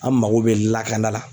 An mago bɛ lakana la